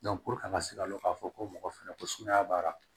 an ka se ka dɔn ka fɔ ko mɔgɔ fɛnɛ ko sumaya b'a la